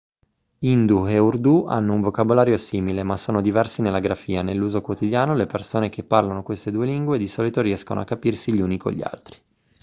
hindi e urdu hanno un vocabolario simile ma sono diversi nella grafia nell'uso quotidiano le persone che parlano queste due lingue di solito riescono a capirsi gli uni con gli altri